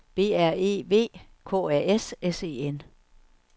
B R E V K A S S E N